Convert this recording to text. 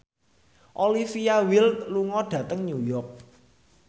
Olivia Wilde lunga dhateng New York